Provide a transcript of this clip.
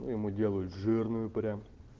ему делают жирную прямо